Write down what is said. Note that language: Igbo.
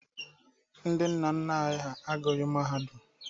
Ndị nna nna anyị hà agụghị mahadum.